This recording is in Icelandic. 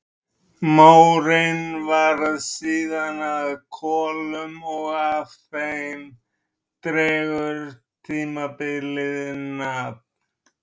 Mórinn varð síðan að kolum og af þeim dregur tímabilið nafn.